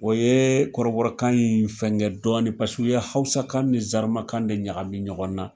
O ye kɔrɔbɔrɔkan in fɛngɛ dɔɔnin paseke u ye hawusakan ni zɛrimakan de ɲagamin ɲɔgɔn na